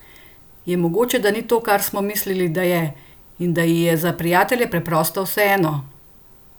Je mogoče, da ni to, kar smo mislili, da je, in da ji je za prijatelje preprosto vseeno?